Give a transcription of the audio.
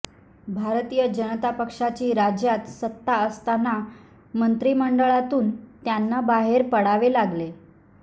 भारतीय जनता पक्षाची राज्यात सत्ता असताना मंत्रिमंडळातून त्यांना बाहेर पडावे लागले